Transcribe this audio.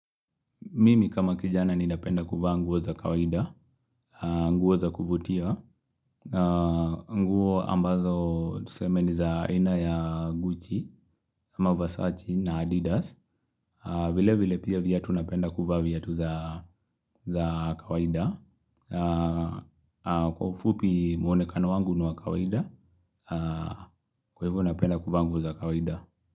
Mimi kama kijana ninapenda kuvaa nguo za kawaida, nguo za kuvutia, nguo ambazo tuseme ni za aina ya Gucci, ama Versace na Adidas, vile vile pia viatu napenda kuvaa vyatu za kawaida, kwa ufupi muonekano wangu ni wa kawaida, kwa hivyo napenda kuvaa nguo za kawaida.